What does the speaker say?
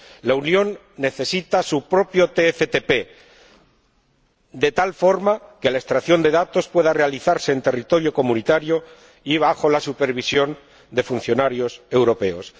La Unión necesita su propio TFTP de tal forma que la extracción de datos pueda realizarse en territorio comunitario y bajo la supervisión de funcionarios europeos.